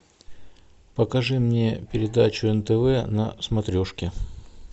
покажи мне передачу нтв на смотрешке